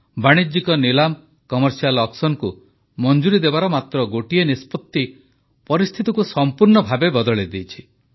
ବାଣିଜ୍ୟିକ ନିଲାମକୁ ମଞ୍ଜୁରି ଦେବାର ମାତ୍ର ଗୋଟିଏ ନିଷ୍ପତ୍ତି ପରିସ୍ଥିତିକୁ ସମ୍ପୂର୍ଣ୍ଣ ଭାବେ ବଦଳାଇଦେଇଛି